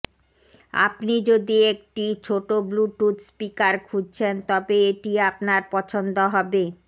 এপনি যদি একটি ছোট ব্লুটুথ স্পিকার খুঁজছেন তবে এটি আপনার পছন্দ হবে